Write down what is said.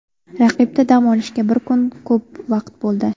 Raqibda dam olishga bir kun ko‘p vaqt bo‘ldi.